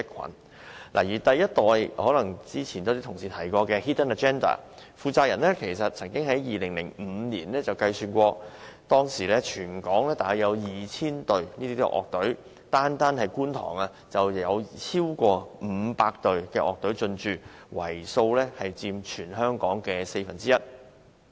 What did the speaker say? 剛才也有同事提及過的 Hidden Agenda ，其第一代負責人曾在2005年估算過，當時全港約有 2,000 隊樂隊，單在觀塘，已經有超過500隊樂隊進駐，佔全香港樂隊總數約四分之一。